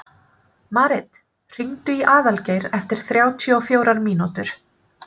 Marit, hringdu í Aðalgeir eftir þrjátíu og fjórar mínútur.